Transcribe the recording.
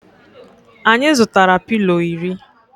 Anyi zutara pilo iri